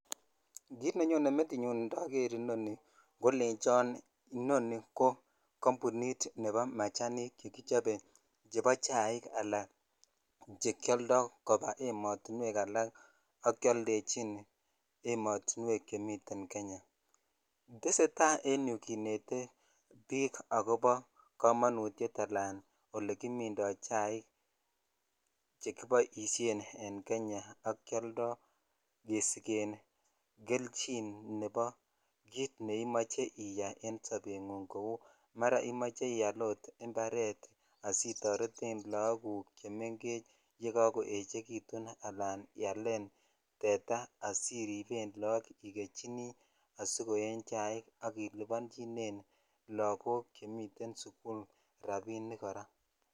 Kit nenyone metinyun indoor nii kolechon inoni ko kambunit nebo mechanik chekichop chebo chair ala chekioldo koba ematunwet alak ak keoldechin emotunwek chemiten Kenya tesetai en umyuu kinet bik akobo komonutet ala ole kimindo chaik chekiboishen en Kenya ak keoldo kesijen kelchin nebo kit neimoche uyai en sobengunng kou more imoche ial ok imparet asitoreten lokok chemengech ala cheoechekitun alan ialen tetaa asirriben lokok ak ikechini asiyochinen chaik ak ilibonchinen lokok cheiten sukul rabinik kora.